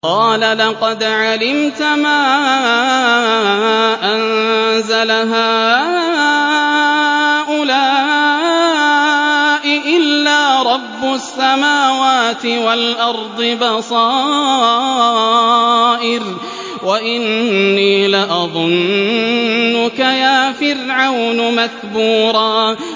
قَالَ لَقَدْ عَلِمْتَ مَا أَنزَلَ هَٰؤُلَاءِ إِلَّا رَبُّ السَّمَاوَاتِ وَالْأَرْضِ بَصَائِرَ وَإِنِّي لَأَظُنُّكَ يَا فِرْعَوْنُ مَثْبُورًا